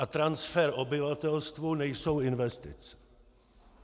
A transfer obyvatelstvu nejsou investice.